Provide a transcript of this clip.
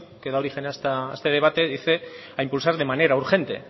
que da origen a este debate dice a impulsar de manera urgente